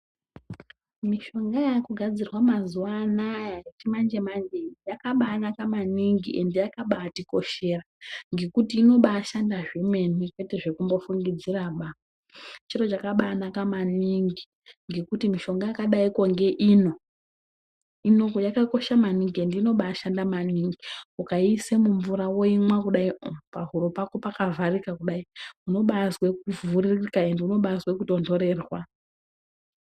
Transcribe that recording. Mishonga yakugadzirwa mazuwa anaya yemanje-manje iyi yakabanaka maningi ende yakabatikoshera ngekuti inobashanda zvemene kwete zvekumbofungidziraba. Chiro chakanaka maningi ngekuti mishonga yakadai ngeino yakakosha maningi ende inobashanda maningi. Ukaiisa mumvura woumwa kudaio pahura pako pakavharika kudai unobazwe kuvhurika ende unobazwe kutontorerwa.